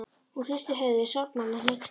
Hún hristi höfuðið sorgmædd og hneyksluð.